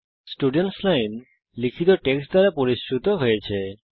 students line লিখিত text দ্বারা পরিশ্রুত হয়েছে